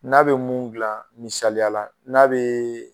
N'a bɛ mun dilan misaliya la n'a bɛ